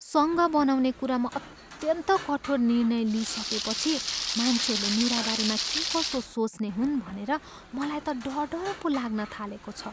सङ्घ बनाउने कुरामा अत्यन्त कठोर निर्णय लिइसकेपछि मान्छेहरूले मेराबारेमा के कसो सोच्ने हुन् भनेर मलाई त डर डर पो लाग्न थालेको छ।